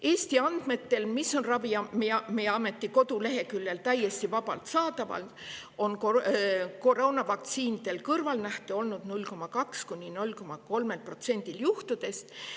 Eesti andmetel, mis on Ravimiameti koduleheküljel täiesti vabalt saadaval, on koroonavaktsiinidel kõrvalnähte olnud 0,2–0,3%‑l juhtudest.